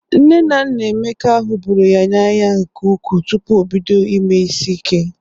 Nne na Nna Emeka hụbụru ya n'anya nke ukwu tupu o bido ime isi ike.